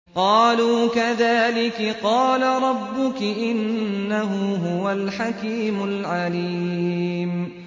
قَالُوا كَذَٰلِكِ قَالَ رَبُّكِ ۖ إِنَّهُ هُوَ الْحَكِيمُ الْعَلِيمُ